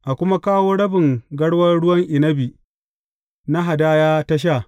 A kuma kawo rabin garwan ruwan inabi na hadaya ta sha.